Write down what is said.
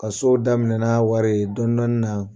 Ka sow daminɛ n'a wari dɔni dɔni na